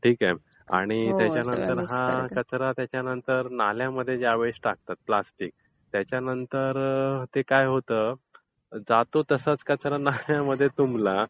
ठीक आहे, आणि नाल्यामध्ये ज्या वेळेस हा कचरा टाकतात प्लॅस्टिक त्याच्यानंतर काय होतं? नाल्यामध्ये जातो तसाच कचरा तुंबला.